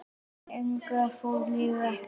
Lengra fór liðið ekki.